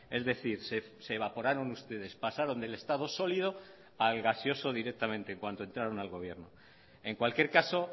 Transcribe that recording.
es decir se evaporaron ustedes pasaron del estado sólido al gaseoso directamente en cuanto entraron al gobierno en cualquier caso